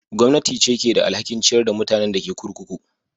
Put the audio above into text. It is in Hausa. Gwamnati ce ke da alhakin ciyar da mutanen da ke kurkuku.